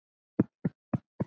Áætlað að hittast aftur?